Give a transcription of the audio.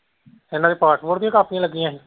ਇਹਨਾਂ ਦੀਆਂ passport ਦੀਆਂ ਕਾਪੀਆਂ ਲੱਗੀਆਂ ਹੀ।